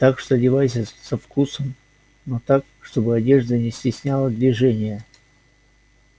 так что одевайся со вкусом но так чтобы одежда не стесняла движение